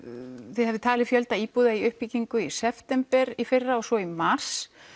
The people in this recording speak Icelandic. þið hafið talið fjölda íbúða í uppbyggingu í september í fyrra og svo í mars